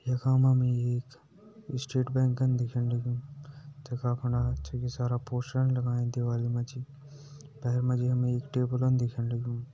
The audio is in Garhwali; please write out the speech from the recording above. यखा मा मा एक स्टेट बैंकन दिखेण लग्युं तखा फुंडा छकि सारा पोस्टरन लगायां दीवारी मा जी भैर मा जी हम एक टेबलन दिखेण लग्युं।